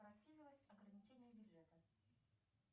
ограничение бюджета